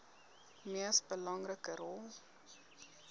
mees belangrike rol